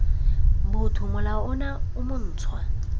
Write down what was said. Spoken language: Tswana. botho molao ono o montshwa